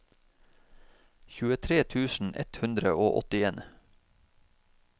tjuetre tusen ett hundre og åttien